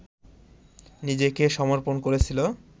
নিজেকে সমর্পণ করেছিল